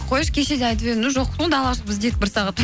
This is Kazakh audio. қойшы кеше де айтып едіңіз далаға шығып іздедік бір сағат